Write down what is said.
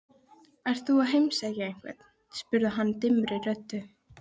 Ert þú að heimsækja einhvern? spurði hann dimmri röddu.